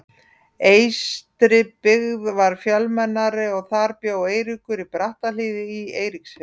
Eystribyggð var fjölmennari og þar bjó Eiríkur, á Brattahlíð í Eiríksfirði.